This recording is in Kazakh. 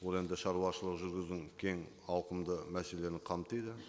ол енді шаруашылық жүргізудің кең ауқымды мәселелерін қамтиды